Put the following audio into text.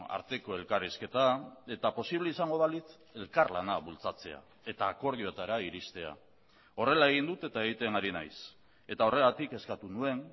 arteko elkarrizketa eta posible izango balitz elkarlana bultzatzea eta akordioetara iriztea horrela egin dut eta egiten ari naiz eta horregatik eskatu nuen